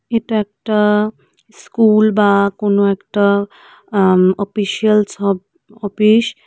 এটা একটা স্কুল বা কোনো একটা আ অপিসিয়ালস অফ অপিস ।